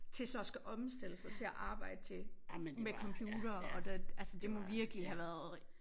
Til så at skulle omstille sig til at arbejde til med computere og det altså det må virkelig have været